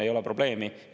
Ei ole probleemi.